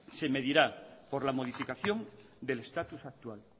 se medirá por la modificación del estatus actual